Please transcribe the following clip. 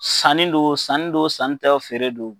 Sanni don sanni don sanni tɛw feere don.